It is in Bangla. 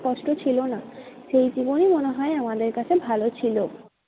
কষ্ট ছিল না। সেই জীবনই মনে হয় আমাদের কাছে ভালো ছিল।